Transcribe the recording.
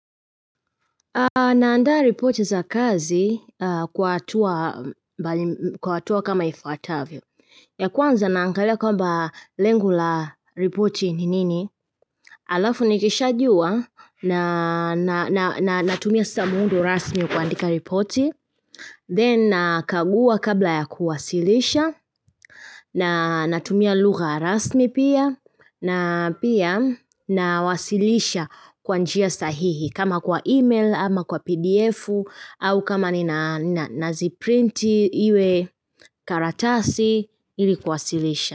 Naandaa ripoti za kazi kwa hatua kwa hatua kama ifuatavyo. Ya kwanza naangalia kwamba lengo la ripoti ni nini? Alafu nikishajua na natumia saa muundo rasmi wa kuandika ripoti. Then nakagua kabla ya kuwasilisha. Na natumia lugha rasmi pia. Na pia nawasilisha kwa njia sahihi kama kwa email ama kwa pdf au kama nina ziprinti iwe karatasi ilikuwasilisha.